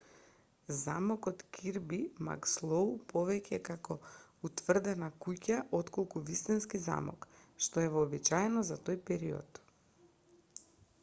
замокот кирби макслоу повеќе е како утврдена куќа отколку вистински замок што е вообичаено за тој период